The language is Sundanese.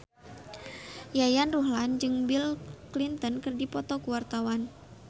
Yayan Ruhlan jeung Bill Clinton keur dipoto ku wartawan